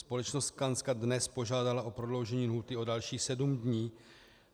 Společnost Skanska dnes požádala o prodloužení lhůty o dalších 7 dnů.